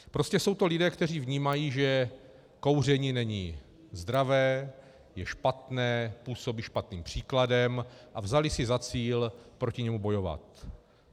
Prostě jsou to lidé, kteří vnímají, že kouření není zdravé, je špatné, působí špatným příkladem, a vzali si za cíl proti němu bojovat.